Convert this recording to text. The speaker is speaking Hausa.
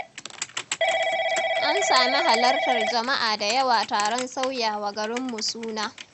An sami halartar jama'a da yawa taron sauyawa garinmu suna.